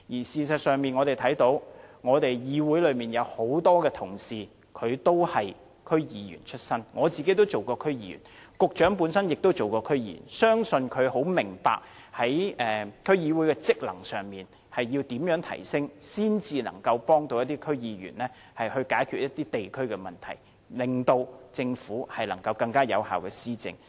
事實上，議會內多位同事均是區議員出身，我自己亦曾任職區議員，局長本身也曾任職區議員，相信他非常明白要怎樣提升區議會的職能，才能協助區議員解決地區的問題，令政府能更有效地施政。